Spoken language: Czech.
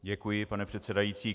Děkuji, pane předsedající.